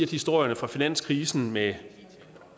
historierne fra finanskrisen med